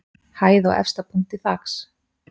Hæð að efsta punkti þaks.